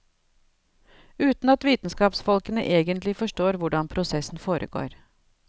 Uten at vitenskapsfolkene egentlig forstår hvordan prosessen foregår.